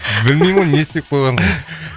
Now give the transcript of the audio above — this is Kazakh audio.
білмеймін ғой не істеп қойғансың